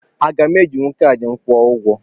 Aga m ejinwu kaadị m were kwụọ ụgwọ?